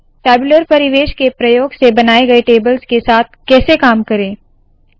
tabular परिवेश के प्रयोग से बनाए गए टेबल्स के साथ कैसे काम करे